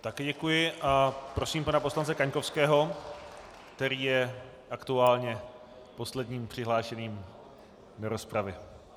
Také děkuji a prosím pana poslance Kaňkovského, který je aktuálně posledním přihlášeným do rozpravy.